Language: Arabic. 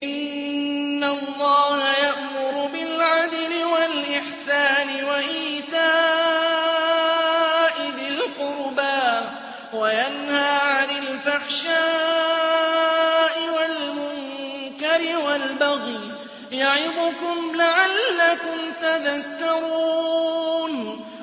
۞ إِنَّ اللَّهَ يَأْمُرُ بِالْعَدْلِ وَالْإِحْسَانِ وَإِيتَاءِ ذِي الْقُرْبَىٰ وَيَنْهَىٰ عَنِ الْفَحْشَاءِ وَالْمُنكَرِ وَالْبَغْيِ ۚ يَعِظُكُمْ لَعَلَّكُمْ تَذَكَّرُونَ